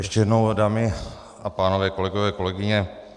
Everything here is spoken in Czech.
Ještě jednou, dámy a pánové, kolegové, kolegyně.